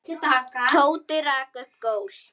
Tóti rak upp gól.